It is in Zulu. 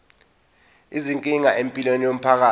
izinkinga empilweni yomphakathi